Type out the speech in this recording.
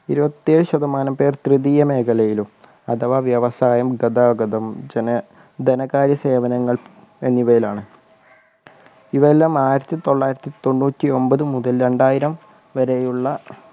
ഇരുപത്തേഴ് ശതമാനം പേർ തൃതീയ മേഖലയിലും അഥവാ വ്യവസായം ഗതാഗതം ജന ധനകാര്യ സേവനങ്ങൾ എന്നിവയിലാണ് ഇവയെല്ലാം ആയിരത്തി തൊള്ളായിരത്തി തൊണ്ണൂറ്റി ഒമ്പതു മുതൽ രണ്ടായിരം വരെയുള്ള